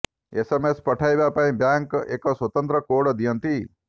SMS ପଠାଇବା ପାଇଁ bank ଏକ ସ୍ୱତନ୍ତ୍ର କୋଡ଼୍ ଦିଅନ୍ତି